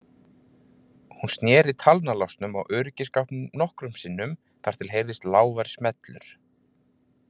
Hún sneri talnalásnum á öryggisskápnum nokkrum sinnum þar til heyrðist lágvær smellur.